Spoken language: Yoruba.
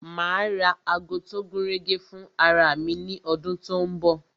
Ma ra ago tó gúnrégé fún ara mi ní ọdún tó ń bọ̀